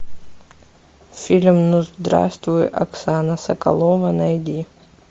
фильм ну здравствуй оксана соколова найди